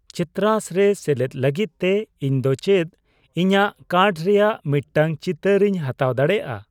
ᱪᱤᱛᱨᱟᱥ ᱨᱮ ᱥᱮᱞᱮᱫ ᱞᱟᱹᱜᱤᱫ ᱛᱮ ᱤᱧ ᱫᱚ ᱪᱮᱫ ᱤᱧᱟ.ᱜ ᱠᱟᱨᱰ ᱨᱮᱭᱟᱜ ᱢᱤᱫᱴᱟᱝ ᱪᱤᱛᱟᱹᱨᱤᱧ ᱦᱟᱛᱟᱣ ᱫᱟᱲᱮᱭᱟᱜᱼᱟ ?